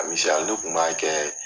ne kun b'a kɛ.